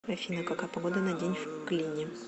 афина какая погода на день в клине